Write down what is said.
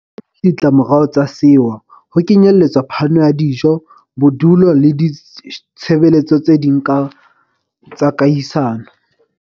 haholo ke ditlamorao tsa sewa, ho kenyeletswa phano ya dijo, bodulo le ditshebe letso tse ding tsa kahisano.